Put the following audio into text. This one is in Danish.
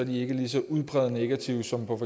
de ikke lige så udpræget negative som på